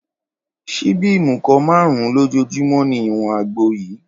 Ṣíbí ìmùkọ márùn-ún lójoojúmọ́ ni ìwọ̀n àgbo yìí